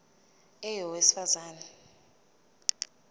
a owesifaz ane